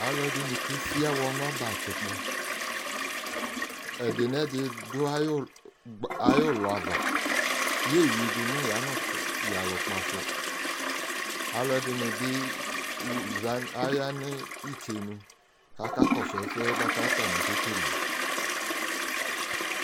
Aluɛdini kwesi awɔ nu ɔbɛ atsikpɔ ɛdi nɛdi du ayu ulɔ ava yeyudu nu yanukpasu aluɛdini bi ya nu itsenu ku akakɔsu ɛsɛ ku atani ke wle